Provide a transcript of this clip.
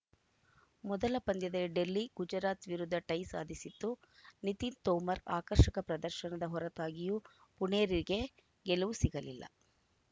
ಮೊದಲ ಪಂದ್ಯದ ಡೆಲ್ಲಿ ಗುಜರಾತ್‌ ವಿರುದ್ಧ ಟೈ ಸಾಧಿಸಿತ್ತು ನಿತಿನ್‌ ತೋಮರ್‌ ಆಕರ್ಷಕ ಪ್ರದರ್ಶನದ ಹೊರತಾಗಿಯೂ ಪುಣೇರಿಗೆ ಗೆಲುವು ಸಿಗಲಿಲ್ಲ